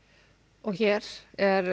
og hér er